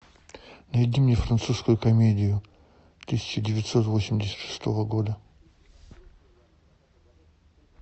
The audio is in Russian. найди мне французскую комедию тысяча девятьсот восемьдесят шестого года